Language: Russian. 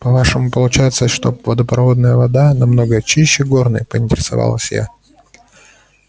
по-вашему получается что водопроводная вода намного чище горной поинтересовалась я